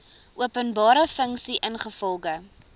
openbare funksie ingevolge